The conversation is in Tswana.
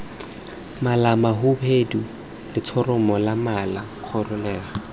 malamahubedu letshoroma la mala kholera